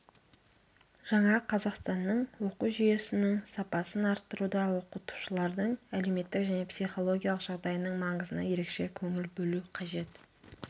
жаңа қазақстанның оқу жүйесінің сапасын арттыруда оқытушылардың әлеуметтік және психологиялық жағдайының маңызына ерекше көңіл бөлу қажет